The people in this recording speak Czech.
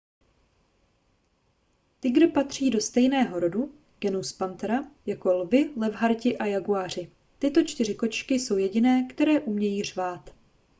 tygr patří do stejného rodu genus panthera jako lvi levharti a jaguáři. tyto čtyři kočky jsou jediné které umějí řvát